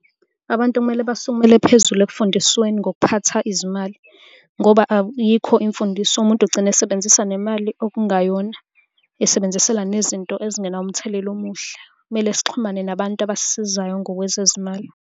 Abantu okumele basukumele phezulu ekufundisweni ngokuphatha izimali ngoba ayikho imfundiso umuntu ugcina esebenzisa nemali okungayona. Esebenzisela nezinto ezingenawo umthelela omuhle. Kumele sixhumane nabantu abasisizayo ngokwezezimali.